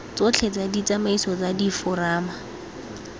tsotlhe tsa ditsamaiso tsa diforamo